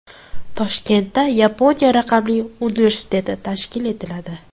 Toshkentda Yaponiya raqamli universiteti tashkil etiladi.